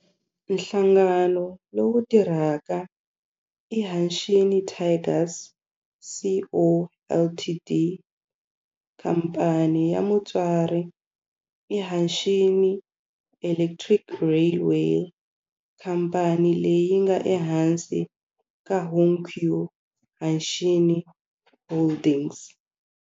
Nhlangano lowu tirhaka i Hanshin Tigers Co., Ltd. Khamphani ya mutswari i Hanshin Electric Railway, khamphani leyi nga ehansi ka Hankyu Hanshin Holdings.